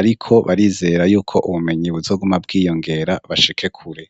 ariko barizerayo yuko ubumenyi buzoguma bwiyongera bashike kure.